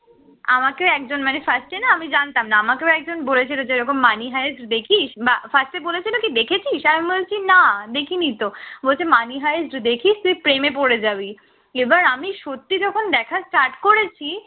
আমাকে একজন মানে first এ না আমি জানতাম না, আমাকেও একজন বলেছিল যে এরকম money হে দেখিস বা fast এ বলেছিল কি দেখেছিস? আমি বলছি না দেখিনি তো, বলেছে money হে তুই দেখিস তুই প্রেমে পড়ে যাবি, এবার আমি সত্যিই যখন দেখা start করেছি